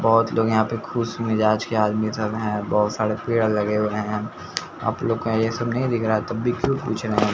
बहोत लोग यहां पे खुश मिजाज के आदमी सब हैं बहोत सारे पेड़ लगे हुए हैं आपलोग को ये सब नहीं दिख रहा तब भी क्यों पूछ रहे है।